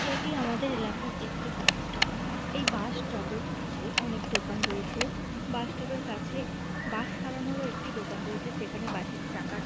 এটি আমাদের এলাকার একটি বাস স্টপ এই বাস স্টপ - এর পাশে অনেক দোকান রয়েছে বাস স্টপ - এর কাছে বাস সারানোরও একটি দোকান রয়েছে সেখানে বাস - এর চাকা--